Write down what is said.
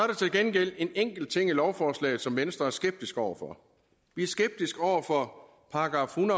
gengæld en enkelt ting i lovforslaget som venstre er skeptiske over for vi er skeptiske over for § en